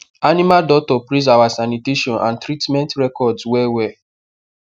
animal doctor praise our sanitation and treatment records well well